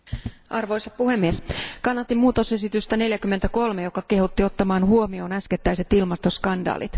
Arvoisa puhemies, kannatin tarkistusta 43, joka kehotti ottamaan huomioon äskettäiset ilmastoskandaalit.